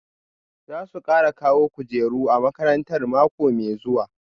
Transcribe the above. Za su kara kawo kujeru a makarantar mako mai zuwa